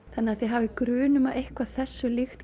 þannig að þið hafið grun um að eitthvað þessu líkt